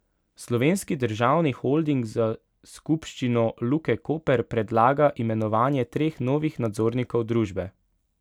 Slovenski državni holding za skupščino Luke Koper predlaga imenovanje treh novih nadzornikov družbe.